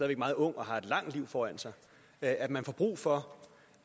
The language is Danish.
væk meget ung og har et langt liv foran sig at man får brug for